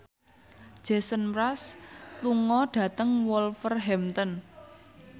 Jason Mraz lunga dhateng Wolverhampton